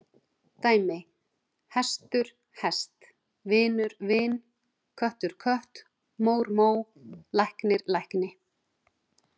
Dæmi: hestur- hest, vinur- vin, köttur- kött, mór- mó, læknir- lækni.